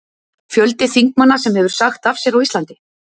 Fjöldi þingmanna sem hefur sagt af sér á Íslandi:?